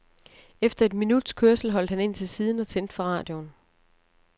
Efter et minuts kørsel holdt han ind til siden og tændte for radioen.